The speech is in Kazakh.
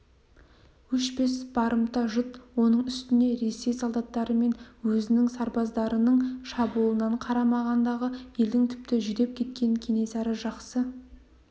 өшпес барымта жұт оның үстіне ресей солдаттары мен өзінің сарбаздарының шабуылынан қарамағындағы елдің тіпті жүдеп кеткенін кенесары жақсы